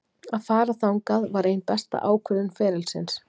Að fara þangað var ein besta ákvörðun ferilsins.